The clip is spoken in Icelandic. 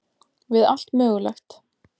Við allt mögulegt.